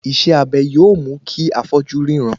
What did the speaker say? Iṣẹ́ abẹ yóò mú kí afọ́jú ríran